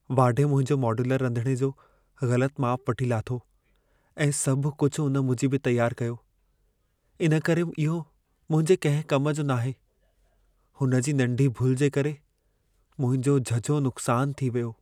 वाढे मुंहिंजो मॉड्यूलर रधिणे जो ग़लत माप वठी लाथो ऐं सभु कुछु उन मूजिबि ई तयारु कयो। इन करे इहो मुंहिंजे कंहिं कम जो नाहे। हुन जी नंढी भुल जे करे मुंहिंजो झझो नुक़्सान थी वियो।